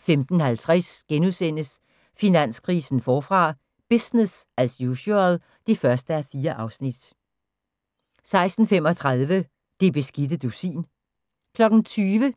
15:50: Finanskrisen forfra - business as usual (1:4)* 16:35: Det beskidte dusin 20:00: